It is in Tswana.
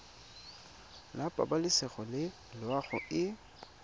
la pabalesego le loago e